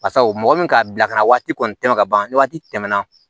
Basabu mɔgɔ min ka bilakana waati kɔni tɛmɛ ka ban ni waati tɛmɛna